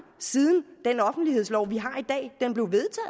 siden den offentlighedslov vi